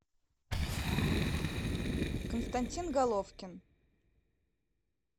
константин головкин